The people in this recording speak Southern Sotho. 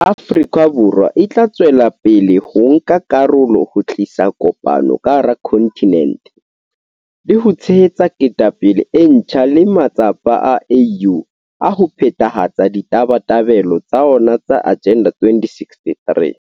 Afrika Borwa e tla tswela pele ho nka karolo ho tlisa kopano ka hara kontinente, le ho tshehetsa ketapele e ntjha le matsapa a AU a ho phethahatsa ditabatabelo tsa ona tsa Agenda 2063.